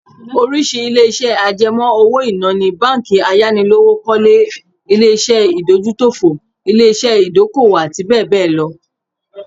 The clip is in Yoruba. Oríṣìí ilé-iṣẹ́ àjẹmọ́ owó-ìná ni:, báńkì ayánilówókọ́lé, ilé-iṣẹ́ ìdójútòfò, ilé-iṣẹ́ ìdókòwò àti bẹ́ẹ̀ bẹ́ẹ̀ lọ